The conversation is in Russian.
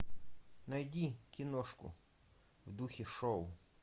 найди киношку в духе шоу